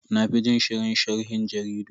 Na fi jin shirin sharhin jaridu.